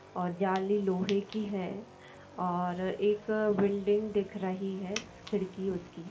और जाली लोहे की है और एक बिल्डिंग दिख रही है खिड़की उसकी।